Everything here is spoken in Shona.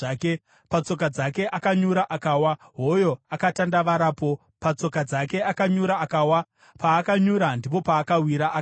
Patsoka dzake, akanyura, akawa; hoyo akatandavarapo. Patsoka dzake akanyura, akawa; paakanyura, ndipo paakawira, akafa.